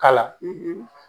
K'a la